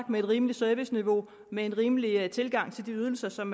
med et rimeligt serviceniveau med en rimelig tilgang til de ydelser som